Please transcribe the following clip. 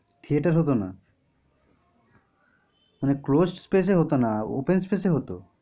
theater হত না? মানে close space এ হত না open space এ হত?